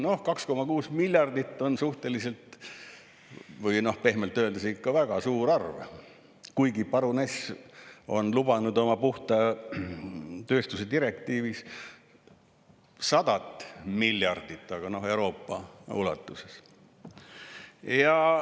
Noh, 2,6 miljardit eurot on suhteliselt või pehmelt öeldes ikka väga suur, kuigi paruness on lubanud oma puhta tööstuse direktiivis 100 miljardit, aga Euroopa ulatuses.